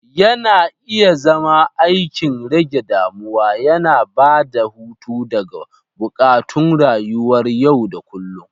Yana iya zama aikin rage damuwa, yana ba da hutu daga buƙatun rayuwar yau da kullun.